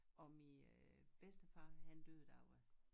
Og min øh bedstefar han døde da jeg var